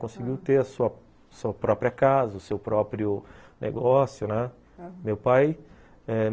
Conseguiu ter a sua própria casa, o seu próprio negócio, né? meu pai